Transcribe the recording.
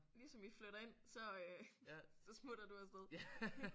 Ligesom I flytter ind så øh så smutter du af sted